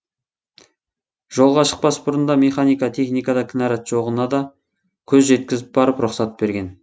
жолға шықпас бұрын да механик техникада кінәрат жоғына көз жеткізіп барып рұқсат берген